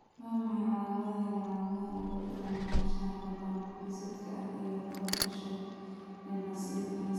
Waa maxay calamadaha iyo calaamadaha lagu garto maqnaanshaha laba-geesoodka ah ee lagu dhasho ee vas deferenska?